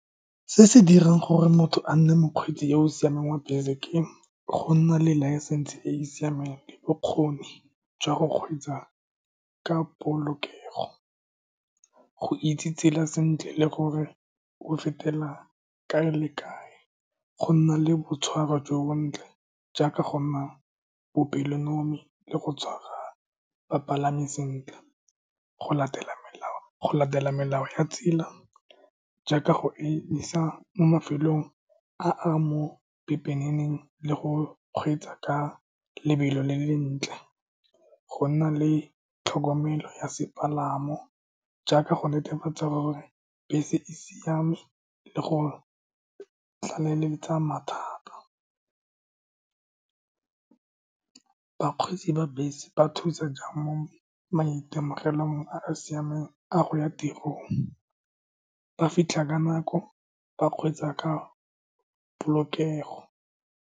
Se se dirang gore motho a nne mokgweetsi yo o siameng wa bese ke go nna le licence e e siameng, bokgoni jwa go kgweetsa ka polokego, go itse tsela sentle le gore o fetela kae le kae, go nna le boitshwaro jo bontle jaaka go nna bopelonomi le go tshwara bapalami sentle, go latela melao ya tsela jaaka go emisa mo mafelong a a mo pepeneneng le go kgweetsa ka lobelo le le lentle, go nna le tlhokomelo ya sepalamo jaaka go netefatsa gore bese e siame le go tlaleletsa mathata. Bakgweetsi ba bese ba thusa jang mo maitemogelong a a siameng a go ya tirong, ba fitlha ka nako, ba kgweetsa ka polokego.